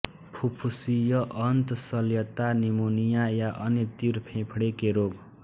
फुफ्फुसीय अन्त शल्यता निमोनिया या अन्य तीव्र फेफड़े के रोग